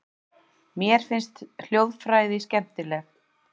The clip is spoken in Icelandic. Mér finnst hljóðfræði skemmtileg.